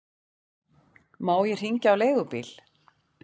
Má ég hringja á leigubíl?